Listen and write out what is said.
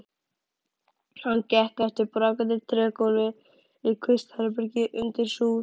Hann gekk yfir brakandi trégólf í kvistherbergi undir súð.